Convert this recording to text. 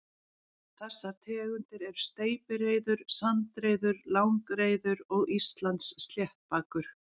Þessar tegundir eru steypireyður, sandreyður, langreyður og Íslandssléttbakur.